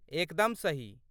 एकदम सही।